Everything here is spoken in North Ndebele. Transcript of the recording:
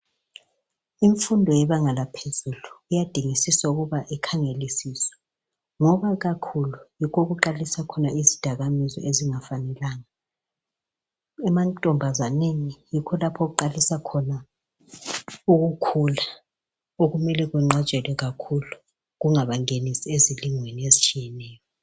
Imfundo yebanga laphezulu kuyadingisiswa ukuba ikhangeliswe ngoba kakhulu yikho okuqalisa khona izidakamizwa ezingafanelanga emantombazaneni yikho okuqalisa khona ukukhula okumele kunqatshelwe kakhulu kungabangenisi ezilingweni ezitshiyeneyo.